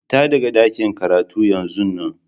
Fita daga ɗakin karatun yanzun nan!